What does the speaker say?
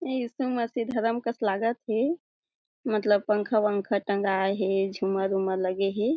यीशु मसीह धरम कस लागत हे मतलब पंखा वनखा टँगाए हे झूमर उमर लगे हे।